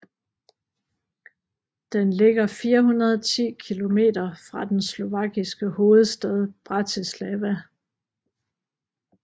Den ligger 410 kilometer fra den slovakiske hovedstad Bratislava